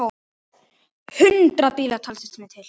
Hundruð bíla, taldist mér til!